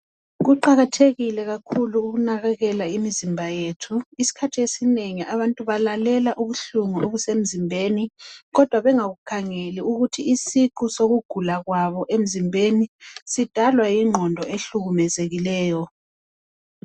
Kuqakathekile kakhulu ukunakekela imizimba yethi. Isikhathi esinengi abantu balalela ubuhlungu obusemzimbeni, kodwa bengakukhangeli ukuthi isiqu sokugulakwabo emzimbeni sidalwa yingqondo ehlukumezekileyo.